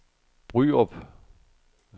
Bryrup